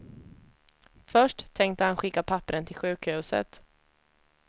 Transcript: Först tänkte han skicka papperen till sjukhuset.